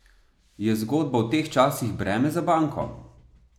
Je zgodba v teh časih breme za banko?